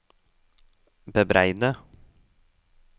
bebreide